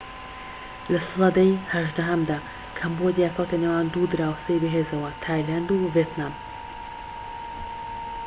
لە سەدەی هەژدەهەمدا کەمبۆدیا کەوتە نێوان دوو دراوسێی بەهێزەوە تایلاند و ڤێتنام